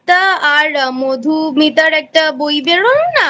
আর মধুমিতার একটা বই বেরোলো না?